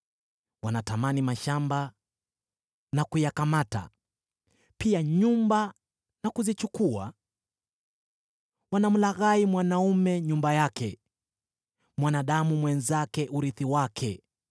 Wanatamani mashamba na kuyakamata, pia nyumba na kuzichukua. Wanamlaghai mwanaume nyumba yake, mwanadamu mwenzake urithi wake.